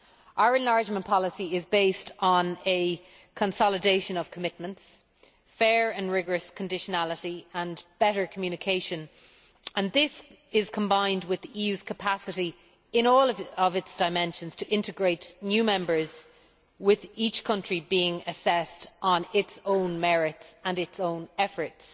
Our enlargement policy is based on a consolidation of commitments, fair and rigorous conditionality and better communication. This is combined with the EU's capacity, in all its dimensions, to integrate new members, with each country being assessed on its own merits and its own efforts.